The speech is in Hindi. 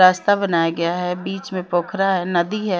रास्ता बनाया गया है बिच में प्रोखरा है नदी है।